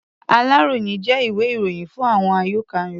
Aláròyé jẹ́ ìwé-ìròyìn fún àyọká̀ Yorùbá.